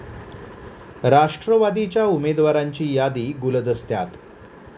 राष्ट्रवादीच्या उमेदवारांची यादी गुलदस्त्यात